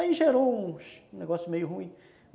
Aí gerou um negócio meio ruim.